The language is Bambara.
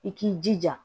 I k'i jija